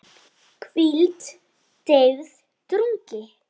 hvíld, deyfð, drungi